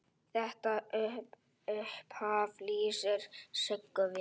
Þetta upphaf lýsir Siggu vel.